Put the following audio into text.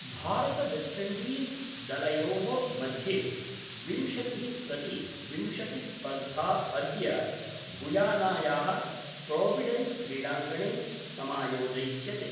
भारतवेस्टइण्डीज दलयोर्मध्ये विंशतिः प्रति विंशतिस्पर्धा अद्य गुयानाया: प्रोविडेन्सक्रीडांगणे समायोजयिष्यते।